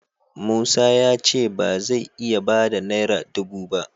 Musa ya ce ba zai iya ba da naira dubu ba.